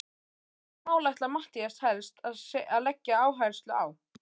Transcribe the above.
En hvaða mál ætlar Matthías helst að leggja áherslu á?